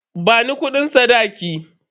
Bani kudin sadakin.